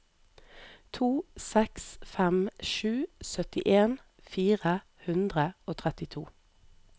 to seks fem sju syttien fire hundre og trettito